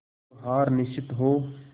जो हार निश्चित हो